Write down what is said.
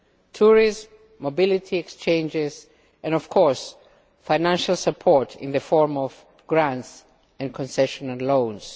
tourism, mobility exchanges and of course financial support in the form of grants and concessional loans.